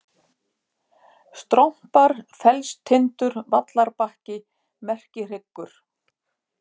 Strompar, Fellstindur, Vallarbakki, Merkihryggur